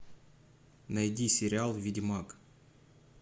найди сериал ведьмак